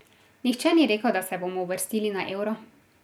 Nihče ni rekel, da se bomo uvrstili na Euro.